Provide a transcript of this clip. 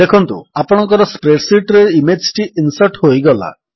ଦେଖନ୍ତୁ ଆପଣଙ୍କର spreadsheet ରେ ଇମେଜ୍ ଟି ଇନ୍ସର୍ଟ ହୋଇଗଲା